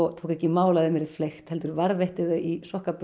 tók ekki í mál að þeim yrði hent heldur varðveitti þau í